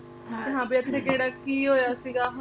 ਹਾਂ ਵੀ ਇੱਥੇ ਕਿਹੜਾ ਕੀ ਹੋਇਆ ਸੀਗਾ ਹੁਣ ਜਿਵੇਂ ਸ਼ਹੀਦਾਂ ਸਾਹਿਬ